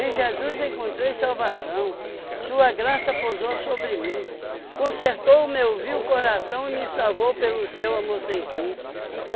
Jesus encontrei salvação, sua graça posou sobre mim, consertou o meu vil coração e me salvou pelo seu amor sem fim.